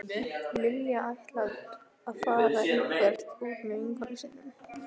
Lilja ætlar að fara eitthvert út með vinkonum sínum